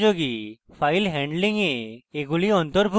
file handling এ এগুলি অন্তর্ভুক্ত: